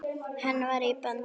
Hann var í böndum.